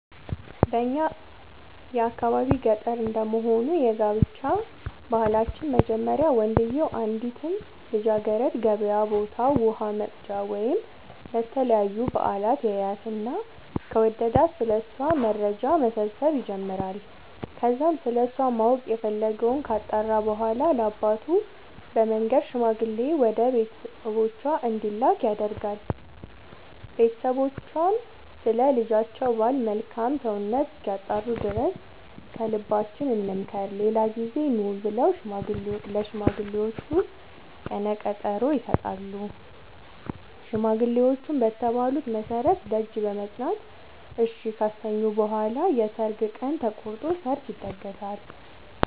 በእኛ የአካባቢ ገጠር እንደመሆኑ የጋብቻ ባህላችን መጀመሪያ ወንድዬው አንዲትን ልጃገረድ ገበያ ቦታ ውሃ ወቅጃ ወይም ለተለያዩ በአላት ያያትና ከወደዳት ስለ እሷ መረጃ መሰብሰብ ይጀምራይ ከዛም ስለሷ ማወቅ የፈለገወን ካጣራ በኋላ ለአባቱ በመንገር ሽማግሌ ወደ ቤተሰቦቿ እንዲላክ ያደርጋል ቦተሰቦቿም ስለ ልጃቸው ባል መልካም ሰውነት እስኪያጣሩ ድረስ ከልባችን እንምከር ሌላ ጊዜ ኑ ብለው ለሽማግሌዎቹ ቀነቀጠሮ ይሰጣሉ ሽማግሌዎቹም በተባሉት መሠረት ደጅ በመፅና እሺ ካሰኙ በኋላ የሰርግ ቀን ተቆርጦ ሰርግ ይደገሳል።